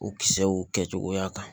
U kisɛw kɛcogoya kan